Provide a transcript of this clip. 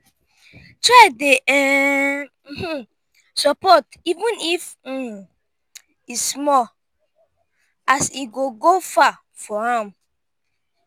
try dey um sopport even if um e small as e go go far for am